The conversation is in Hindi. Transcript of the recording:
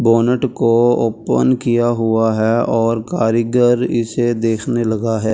बोनट को ओपन किया हुआ है और कारीगर इसे देखने लगा है ।